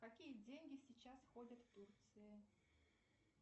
какие деньги сейчас ходят в турции